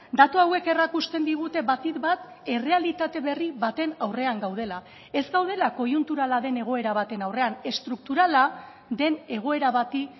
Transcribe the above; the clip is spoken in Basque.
datu hauek erakusten digute batik bat errealitate berri baten aurrean gaudela ez gaudela koiunturala den egoera baten aurrean estrukturala den egoera bati